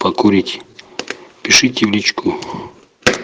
покурить пишите в личку